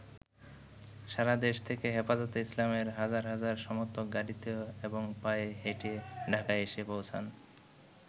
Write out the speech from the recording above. সারাদেশ থেকে হেফাজতে ইসলামের হাজার হাজার সমর্থক গাড়ীতে এবং পায়ে হেঁটে ঢাকায় এসে পৌঁছান।